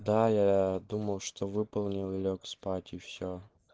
да я думал что выполнил и лёг спать и всё